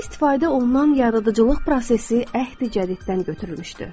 Sirdə istifadə olunan yaradıcılıq prosesi əhdi-cədiddən götürülmüşdü.